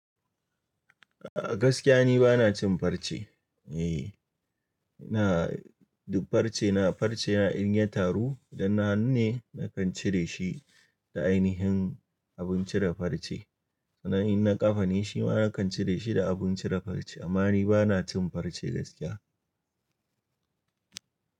A gaskiya ni ba na cin farce. Eee, na du farce, na farce na irin yataru idan na hannu ne na kan cire shi da ainihin abun cire farce. Sannan in na ƙafa ne shi ma na kan cire shi da abun cire farce. Amma ni ba na cin farce gaskiya.